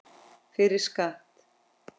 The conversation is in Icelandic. Fyrir skatt.